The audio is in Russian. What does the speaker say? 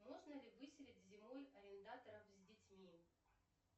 можно ли выселить зимой арендаторов с детьми